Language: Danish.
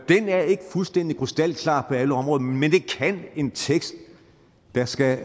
er ikke fuldstændig krystalklar på alle områder men det kan en tekst der skal